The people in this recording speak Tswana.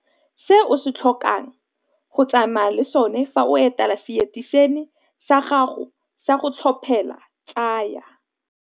Se o tlhokang go tsamaya le sona fa o etela seteišene sa gago sa go tlhophela tsaya.